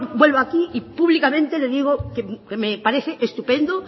vuelvo aquí y públicamente le digo que me parece estupendo